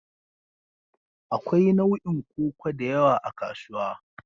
Akwai nau'in koko da yawa a kasuwa.